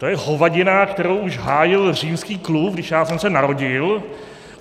To je hovadina, kterou už hájil Římský klub, když já jsem se narodil.